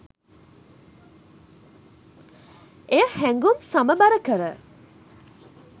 එය හැඟුම් සමබර කර